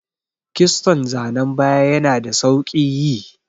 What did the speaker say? Kiston zanan baya yana da sauƙi yi.